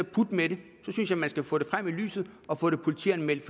putte med det så synes jeg man skal få det frem i lyset og få det politianmeldt